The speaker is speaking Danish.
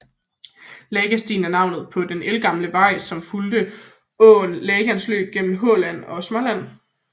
Lagastigen er navnet på den ældgamle vej som fulgte åen Lagans løb gennem Halland og Småland